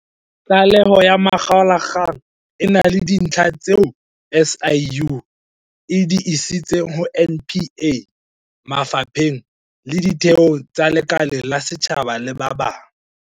Tlaleho ya makgaolakgang e na le dintlha tseo SIU e di isitseng ho NPA, mafa pheng le ditheong tse lekaleng la setjhaba le ba bang.